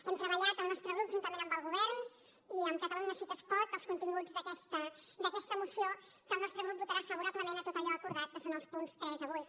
hem treballat el nostre grup juntament amb el govern i amb catalunya sí que es pot els continguts d’aquesta moció que el nostre grup votarà favorablement en tot allò acordat que són els punts del tres al vuit